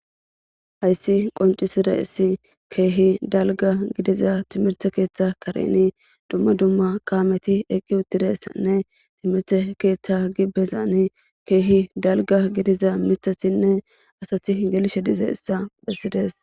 hayssi qoncisire issi keehi dalga gidiza timirte keeththa kareni dumma dumma kaameti eqqi uttiressanne timirte keeththa gi bezani keehi dalga gidiza mitasinne asati gelishe dize issa phessides